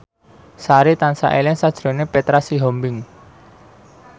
Sari tansah eling sakjroning Petra Sihombing